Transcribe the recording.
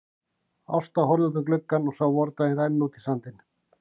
Ásta horfði út um gluggann og sá vordaginn renna út í sandinn.